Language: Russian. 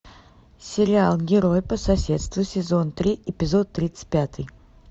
сериал герой по соседству сезон три эпизод тридцать пятый